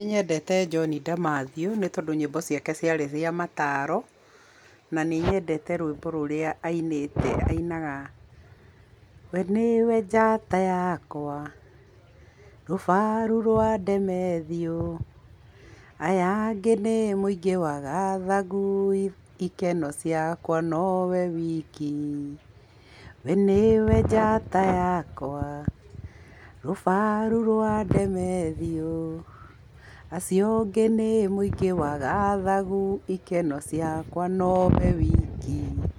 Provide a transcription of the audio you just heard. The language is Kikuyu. Nĩ nyendete John Demathew nĩ tondũ nyĩmbo ciake ciarĩ cia mataro, na nĩ nyendete rwĩmbo rũrĩa ainite, ainaga, "we nĩwe njata yakwa, rũbaru rwa Demathew, aya angĩ nĩ mũingĩ wa gathagu, ikeno ciakwa no we wiki. We nĩwe njata yakwa, rũbaru rwa Demathew, acio angĩ nĩ mũingĩ wa gathagu, ikeno ciakwa no we wiki."